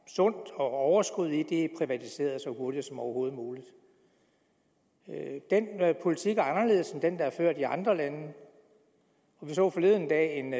sundt og overskud i er blevet privatiseret så hurtigt som overhovedet muligt den politik er anderledes end den der er ført i andre lande jeg så forleden dag en